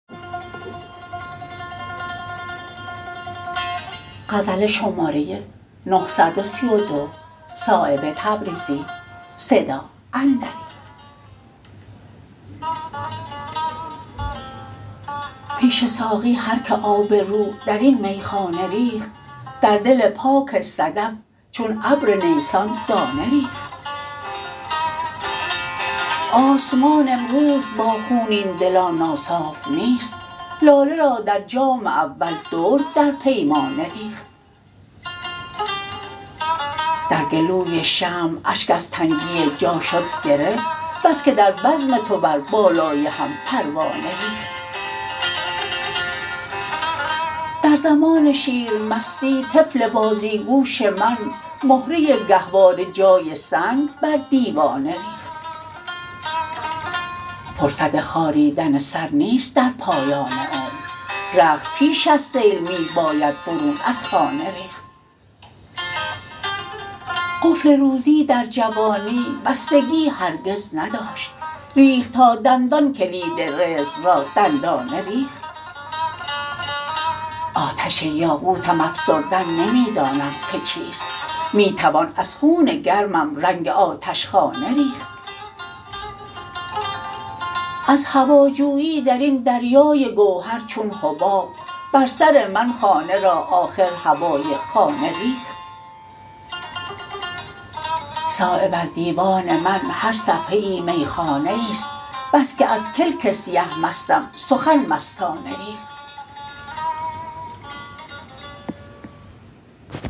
پیش ساقی هر که آب رو درین میخانه ریخت در دل پاک صدف چون ابر نیسان دانه ریخت آسمان امروز با خونین دلان ناصاف نیست لاله را در جام اول درد در پیمانه ریخت در گلوی شمع اشک از تنگی جا شد گره بس که در بزم تو بر بالای هم پروانه ریخت در زمان شیر مستی طفل بازیگوش من مهره گهواره جای سنگ بر دیوانه ریخت فرصت خاریدن سر نیست در پایان عمر رخت پیش از سیل می باید برون از خانه ریخت قفل روزی در جوانی بستگی هرگز نداشت ریخت تا دندان کلید رزق را دندانه ریخت آتش یاقوتم افسردن نمی دانم که چیست می توان از خون گرمم رنگ آتشخانه ریخت از هواجویی درین دریای گوهر چون حباب بر سر من خانه را آخر هوای خانه ریخت صایب از دیوان من هر صفحه ای میخانه ای است بس که از کلک سیه مستم سخن مستانه ریخت